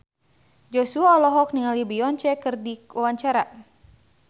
Joshua olohok ningali Beyonce keur diwawancara